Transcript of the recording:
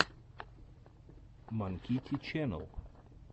манкити ченнэл